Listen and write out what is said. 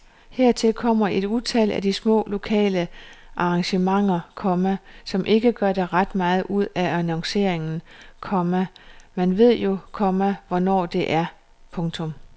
Hertil kommer et utal af de små lokale arrangementer, komma som ikke gør ret meget ud af annonceringen, komma man ved jo, komma hvornår det er. punktum